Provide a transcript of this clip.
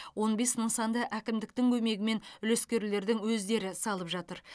он бес нысанды әкімдіктің көмегімен үлескерлердің өздері салып жатыр